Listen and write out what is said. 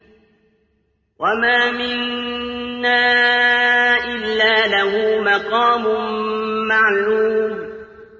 وَمَا مِنَّا إِلَّا لَهُ مَقَامٌ مَّعْلُومٌ